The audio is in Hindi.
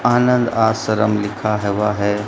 आनंद आश्रम लिखा हवा है।